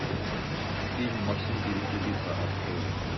фильм максим перепелица открой